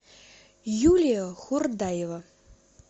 юлия хурдаева